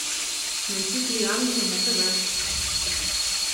найти три ангела на тв